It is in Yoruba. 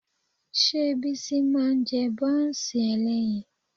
Ṣé Bísí máa ń jẹ bọ́ọ̀sì ẹlẹ́yin?